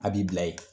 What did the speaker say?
A b'i bila ye